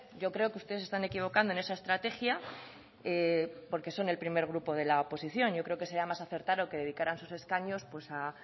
yo creo que ustedes se están equivocando en esa estrategia porque son el primer grupo de la oposición yo creo que sería más acertado que dedicaran sus escaños a